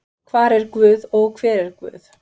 Hvar er guð og hver er guð?